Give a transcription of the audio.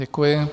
Děkuji.